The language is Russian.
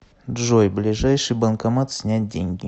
джой ближайший банкомат снять деньги